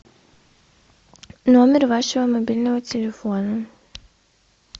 номер вашего мобильного телефона